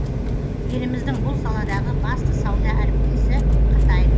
еліміздің бұл саладағы басты сауда әріптесі қытай